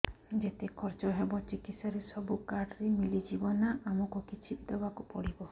ଯେତେ ଖର୍ଚ ହେବ ଚିକିତ୍ସା ରେ ସବୁ କାର୍ଡ ରେ ମିଳିଯିବ ନା ଆମକୁ ବି କିଛି ଦବାକୁ ପଡିବ